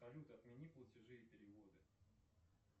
салют отмени платежи и переводы